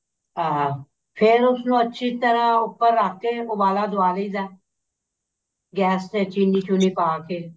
ਹਾਂ ਫ਼ੇਰ ਉਸ ਨੂੰ ਅੱਛੀ ਤਰ੍ਹਾਂ ਉੱਪਰ ਰੱਖ ਕੇ ਉਬਾਲਾ ਦਵਾ ਦਈ ਦਾ ਗੇਸ ਤੇ ਚਿੰਨੀ ਚੁੰਨੀ ਪਾ ਕੇ